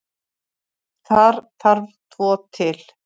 Þar þarf tvo til.